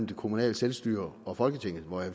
det kommunale selvstyre og folketinget og jeg